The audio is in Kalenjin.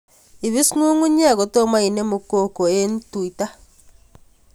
Ipis ng'ung'unyek kotomo inemu koko eng' tuta